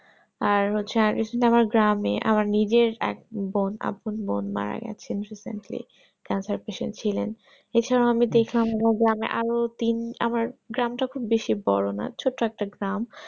আর হচ্ছে গ্রামে আমার নিজের এক বোন আপন বোন মারা গেছিলো recently cancer patient ছিলেন এছাড়াও আমিও দেখলাম গ্রামে আরো তিন আমার গ্রাম যখন বেশি বড়ো না ছোট একটা